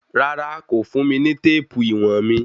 Rárá, kò fùn mi ní téèpù íwọ̀n mi.